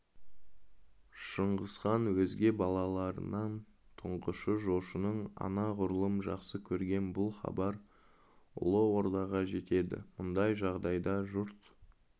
шыңғысхан өзге балаларынан тұңғышы жошыны анағұрлым жақсы көрген бұл хабар ұлы ордаға жетеді мұндай жағдайда жұрт